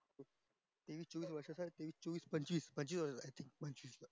चोवीस पंचवीस वर्षा चा पंचवीस वर्षा चा ये तो